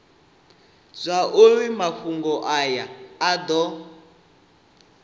zwauri mafhungo aya a do